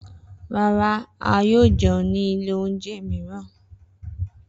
Rara, a yoo jẹun ni ile ounjẹ miiran.